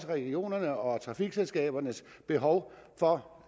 regionernes og trafikselskabernes behov for